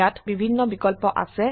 ইয়াত বিভিন্ন বিকল্প আছে